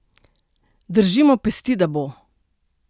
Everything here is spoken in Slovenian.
Držimo pesti, da bo!